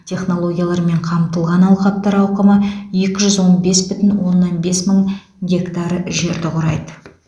технологиялармен қамтылған алқаптар ауқымы екі жүз он бес бүтін оннан бес мың гектар жерді құрайды